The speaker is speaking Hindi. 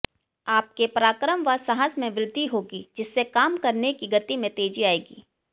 आपके पराक्रम व साहस में वृद्धि होगी जिससे काम करने की गति में तेजी आयेगी